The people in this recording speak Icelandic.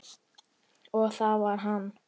Og það var hann.